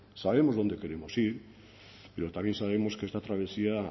sabemos dónde queremos ir pero también sabemos que esta travesía